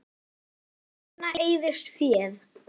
Ýmsum þarna eyðist féð.